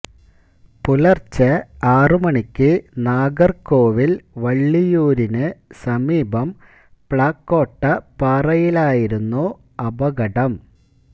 പുലർച്ചെ ആറു മണിക്ക് നാഗർകോവിൽ വള്ളിയൂരിന് സമീപം പ്ലാക്കോട്ടപ്പാറയിലായിരുന്നു അപകടം